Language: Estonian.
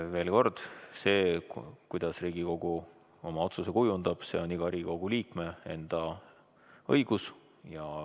Veel kord: see, kuidas Riigikogu oma otsuse kujundab, on iga Riigikogu liikme enda asi.